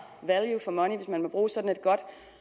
value for money hvis man må bruge sådan et godt